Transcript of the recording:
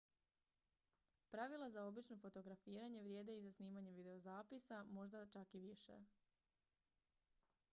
pravila za obično fotografiranje vrijede i za snimanje videozapisa možda čak i više